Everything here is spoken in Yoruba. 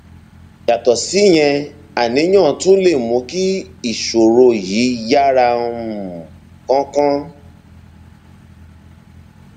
yàtọ síyẹn àníyàn tún lè mú kí ìṣòro yìí yára um kánkán